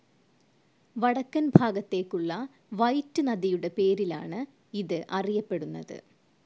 വടക്കൻ ഭാഗത്തേക്കുള്ള വൈറ്റ്‌ നദിയുടെ പേരിലാണ് ഇത് അറിയപ്പെടുന്നത്.